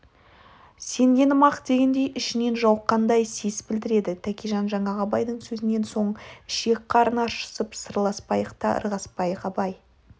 сенгенім-ақ дегендей ішінен жауыққандай сес білдіреді тәкежан жаңағы абайдың сөзінен соң ішек-қарын аршысып сырласпайықта ырғаспайық абай